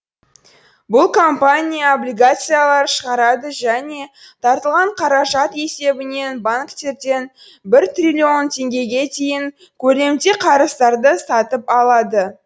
бұл компания облигациялар шығарады және тартылған қаражат есебінен банктерден бір триллион теңгеге дейінгі көлемде қарыздарды сатып алады